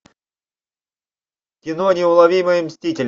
кино неуловимые мстители